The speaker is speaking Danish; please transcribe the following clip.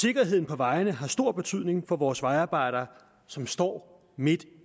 sikkerheden på vejene har stor betydning for vores vejarbejdere som står midt